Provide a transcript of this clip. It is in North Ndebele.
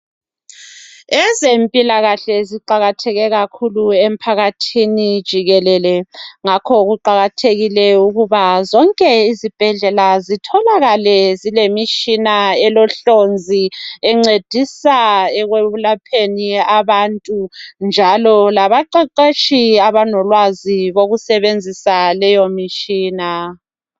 Ezempilakahle ziqakatheke kakhulu emphakathini jikelele ngakho kuqakathekile ukuba zonke izibhedlela zitholakale zilemitshina elohlonzi zincedisa ekulapheni abantu njalo labaqeqetshi abalolwazi kokusebenzisa leyo mitshina